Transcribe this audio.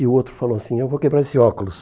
E o outro falou assim, eu vou quebrar esse óculos.